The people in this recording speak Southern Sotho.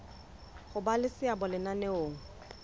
ho ba le seabo lenaneong